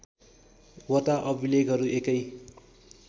वटा अभिलेखहरू एकै